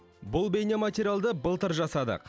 бұл бейнематериалды былтыр жасадық